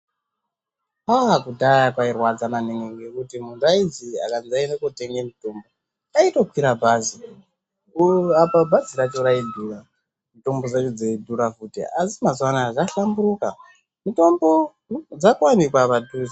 Aa kudhaya kwairwadza maningi ngokuti anthu aizi akanzi aenda kootenga mutombo aitokwira bhazi apa bhazi racho raidhura mutombo dzacho dzaidhura futi asi mazuwanaya zvahlamburuka mutombo dzakuwanikwa padhuze.